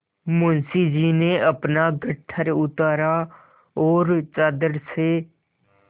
मुंशी जी ने अपना गट्ठर उतारा और चादर से